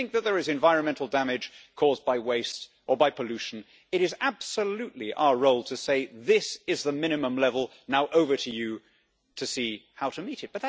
If we think that there is environmental damage caused by waste or by pollution, it is absolutely our role to say this is the minimum level, now over to you to see how to meet it'.